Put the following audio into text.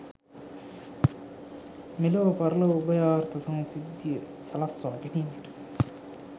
මෙලොව පරලොව උභයාර්ථ සංසිද්ධිය සලස්වා ගැනීමට